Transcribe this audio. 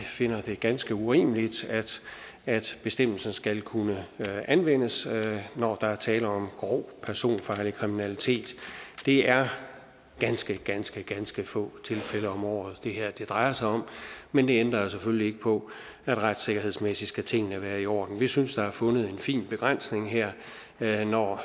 finder det ganske urimeligt at bestemmelsen skal kunne anvendes når der er tale om grov personfarlig kriminalitet det er ganske ganske ganske få tilfælde om året det her drejer sig om men det ændrer selvfølgelig ikke på at retssikkerhedsmæssigt skal tingene være i orden vi synes der er fundet en fin begrænsning her her når